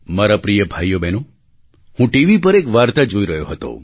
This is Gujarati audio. મારા પ્રિય ભાઈઓબહેનો હું ટીવી પર એક વાર્તા જોઈ રહ્યો હતો